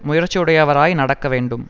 முயற்சியுடையவராய் நடக்க வேண்டும்